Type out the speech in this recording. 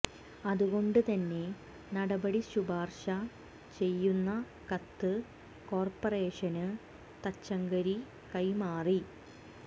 അതുകൊണ്ട് തന്നെ നടപടി ശുപാർശ ചെയ്യുന്ന കത്ത് കോർപ്പറേഷന് തച്ചങ്കരി കൈമാറി